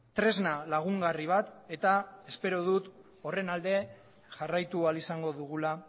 tresna lagungarri bat eta espero dut horren alde jarraitu ahal izango dugula